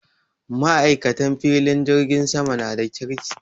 Maikatan filin jirgin sama na da kirki.